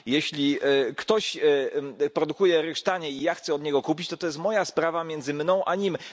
Jeśli ktoś produkuje ryż taniej i ja chcę od niego kupić, to jest moja sprawa, między mną a nim.